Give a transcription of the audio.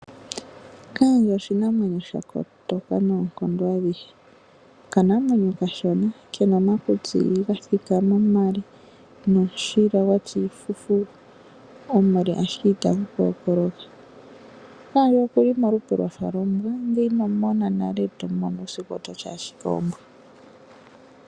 Okaandje oshinamwenyo sha kotoka noonkondo adhihe. Okanamwenyo okashona ke na omakutsi ga thikama ashike omashona nomushila gwa tya iifufu omule ashike ita gu kookoloka pevi. Okaandje oke li molupe lwafa lwombwa ngele ino mu mona nale e to mu mono uusiku oto ti ashike ombwa.